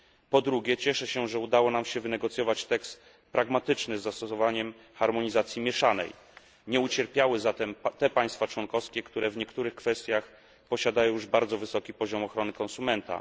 Po drugie, cieszę się, że udało nam się wynegocjować tekst pragmatyczny, z zastosowaniem harmonizacji mieszanej nie ucierpiały zatem te państwa członkowskie, które w niektórych kwestiach posiadają już bardzo wysoki poziom ochrony konsumenta.